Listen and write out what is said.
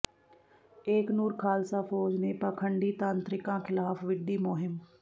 ਏਕਨੂਰ ਖ਼ਾਲਸਾ ਫ਼ੌਜ ਨੇ ਪਾਖੰਡੀ ਤਾਂਤਰਿਕਾਂ ਿਖ਼ਲਾਫ਼ ਵਿੱਢੀ ਮੁਹਿੰਮ